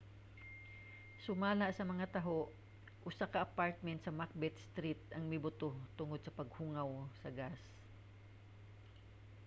sumala sa mga taho usa ka apartment sa macbeth street ang mibuto tungod sa paghungaw sa gas